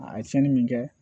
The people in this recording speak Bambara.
A ye tiɲɛni min kɛ